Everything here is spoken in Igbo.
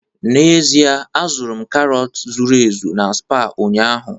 N'ezie, azụrụ m karọt zuru ezu na Spar ụnyaahụ